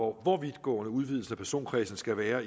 hvor vidtgående udvidelsen af personkredsen skal være